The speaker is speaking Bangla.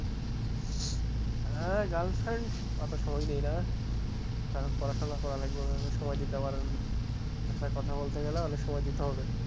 হ্যাঁ girl friend অত সময় নেই না কারণ পড়াশোনা করা লাগবে ভেবে সময় দিতে পারবো না তাছাড়া কথা বলতে গেলে অনেক সময় দিতে হবে,